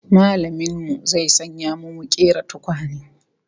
Mallamin mu zai sanya mu mu kera tukwane